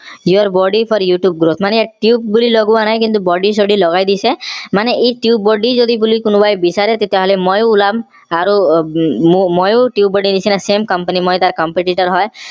your buddy for youtube মানে ইয়াত tubebuddy বুলি লগোৱা নাই buddy ছদি লগাই দিছে মানে ই tubebuddy বুলি যদি কোনোবাই বিচাৰে তেতিয়া হলে মইও ওলাম আৰু উম মইও tubebuddy নিচিনা. same company মই তাৰ competitor হয়